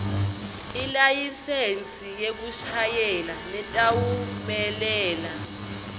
ilayisensi yekushayela letawumelela